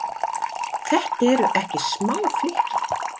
Þetta eru ekki smá flykki?